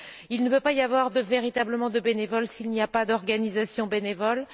Il ne peut pas y avoir véritablement de bénévoles s'il n'y a pas d'organisations bénévoles.